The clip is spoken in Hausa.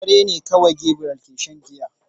Da dare ne kawai Gabriel ke shan giya.